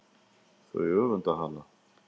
Þau öfunda hana.